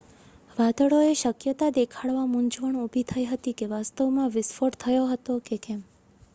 વાદળોએ શક્યતા દેખાડતા મૂંઝવણ ઉભી થઈ હતી કે વાસ્તવમાં વિસ્ફોટ થયો હતો કે કેમ